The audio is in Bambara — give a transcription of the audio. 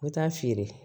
N bɛ taa feere